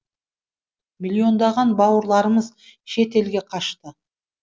миллиондаған бауырларымыз шет елге қашты